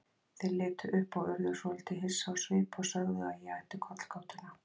Þeir litu upp og urðu svolítið hissa á svip og sögðu að ég ætti kollgátuna.